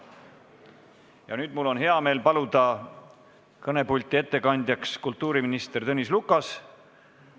Ja nüüd mul on hea meel paluda ettekandeks kõnepulti kultuuriminister Tõnis Lukas.